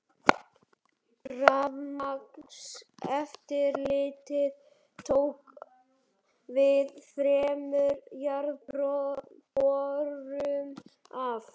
Rafmagnseftirlitið tók við þremur jarðborum af